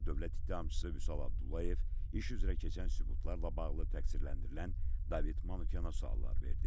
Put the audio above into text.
Bundan sonra dövlət ittihamçısı Vüsal Abdullayev iş üzrə keçən sübutlarla bağlı təqsirləndirilən David Manyana suallar verdi.